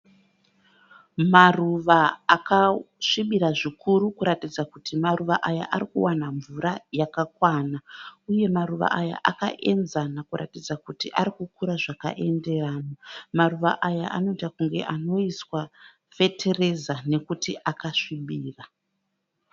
Maruva akasvibirira zvikuru kuratidza kuti maruva aya ari kuwana mvura yakakwana uye maruva aya akaenzana kuratidza kuti arikukura zvakaenderana. Maruva aya anoita kunge anoiswa kuiswa fetireza nokuti akasvibira.